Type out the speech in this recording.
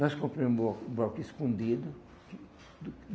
Nós compramos um bloco escondido.